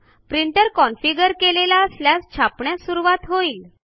printer configure केलेला असल्यास छापण्यास सुरूवात होईल